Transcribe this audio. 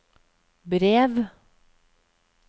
brev